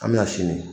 An bɛna sini